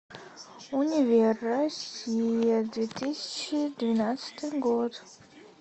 универ россия две тысячи двенадцатый год